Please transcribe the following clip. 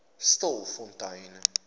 stilfontein